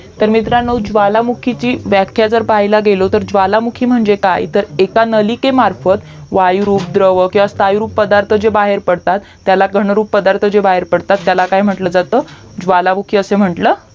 तर मित्रांनो ज्वालामुखीची व्याख्या जर पाहायाला गेलो तर ज्वालामुखी म्हणजे काय तर एका नलिके मार्फत वायु द्रव किवा स्थायू रूप पदार्थ जे बाहेर पडतात त्याला घनरूप पदार्थ जे बाहेर पडतात त्याला काय म्हंटल जाता ज्वालामुखी असा म्हंटलं